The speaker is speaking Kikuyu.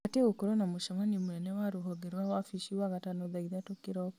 batiĩ gũkorwo na mũcemanio mũnene wa rũhonge rwa wabici wagatano thaa ithatũ kĩroko